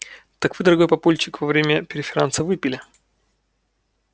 так вы дорогой папульчик во время преферанса выпили